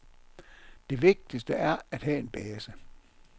Det vigtigste er at have en base.